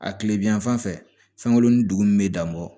A tile bi yan fan fɛ fɛn kolon ni dugu min bɛ dan bɔ